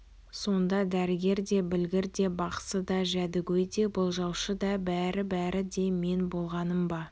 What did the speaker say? сонда дәрігер де білгір де бақсы да жәдігөй де болжаушы да бәрі-бәрі де мен болғаным ба